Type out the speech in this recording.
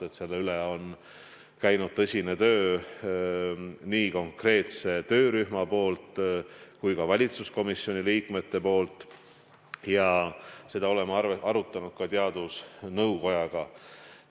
Tõsist tööd on teinud nii konkreetne töörühm kui ka valitsuskomisjoni liikmed ja oleme asja arutanud ka teadusnõukojaga.